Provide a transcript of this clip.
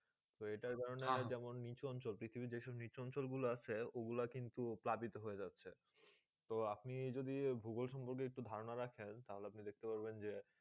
ইটা কারণ যেটা নিচোন অঞ্চল পৃথিবী যেটা নিচোন অঞ্চল আছে ও গুলু কিন্তু প্লাবিত হয়ে যাচ্ছেই তো আপনি যদি ভূগোল সম্পর্কে একটু ধারণা রাখে তালে আপনি দেখতে পারবেন যে